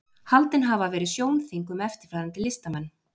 haldin hafa verið sjónþing um eftirfarandi listamenn